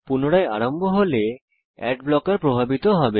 পুনরায় আরম্ভ হলেঅ্যাড ব্লকার প্রভাবিত হবে